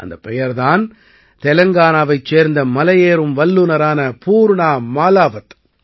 அந்தப் பெயர் தான் தெலங்கானாவைச் சேர்ந்த மலையேறும் வல்லுநரான பூர்ணா மாலாவத்